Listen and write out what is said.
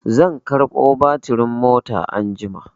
Zan karɓo batirin mota anjima.